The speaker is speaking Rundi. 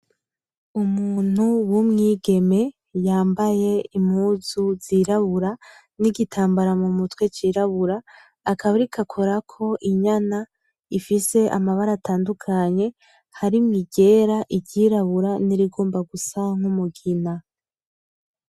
Umuntu w'umwigeme yambaye impuzu zirabura n'igitambara mu mutwe cirabura, akaba ariko akorako inyana ifise amabara atandukanye harimwo iryera, iryirabura n'irigomba gusa n'umugina.